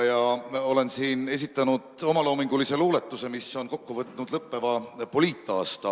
Olen siin esitanud omaloomingulise luuletuse, mis on kokku võtnud lõppeva poliitaasta.